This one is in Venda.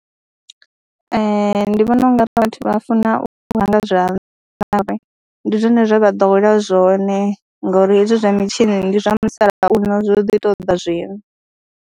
Ee, ndi vhona u nga ri vhathu vha funa u hama nga zwanḓa, ndi zwone zwe vha ḓowela zwone ngori hezwi zwa mitshini ndi zwa musalauno zwo ḓi tou ḓa zwino.